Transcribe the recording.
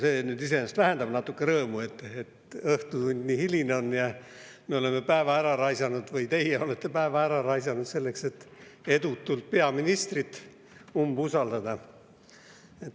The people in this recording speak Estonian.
See küll iseenesest vähendab natuke rõõmu, et õhtutund nii hiline on ja me oleme päeva ära raisanud või teie olete päeva ära raisanud, selleks et edutult peaministrile umbusaldust avaldada.